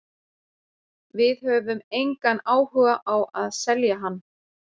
Við höfum engan áhuga á að selja hann.